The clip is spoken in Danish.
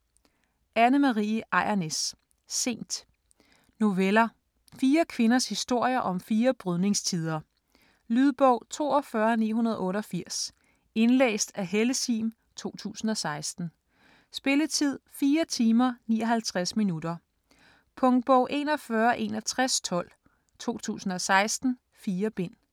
Ejrnæs, Anne Marie: Sent Noveller. Fire kvinders historier om fire brydningstider. Lydbog 42988 Indlæst af Helle Sihm, 2016. Spilletid: 4 timer, 59 minutter. Punktbog 416112 2016. 4 bind.